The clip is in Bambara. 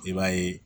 I b'a ye